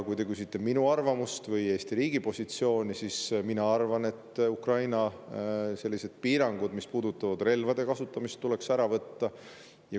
Kui te küsite minu arvamust või Eesti riigi positsiooni, siis mina arvan, et sellised piirangud, mis puudutavad relvade kasutamist, tuleks Ukrainalt ära võtta.